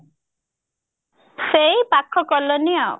ସେଇ ପାଖ colony ଆଉ